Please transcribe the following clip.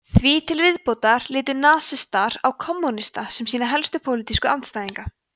því til viðbótar litu nasistar á kommúnista sem sína helstu pólitísku andstæðinga